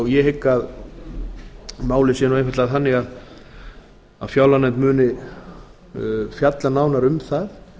ég hygg að málið sé einfaldlega þannig að fjárlaganefnd muni fjalla nánar um það